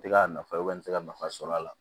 N tɛ ka nafa n bɛ se ka nafa sɔrɔ a la